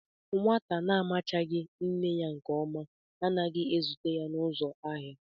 Nwata na-amachaghị nne ya nke ọma anaghi ezute ya n'uzo ahia